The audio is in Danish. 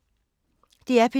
DR P2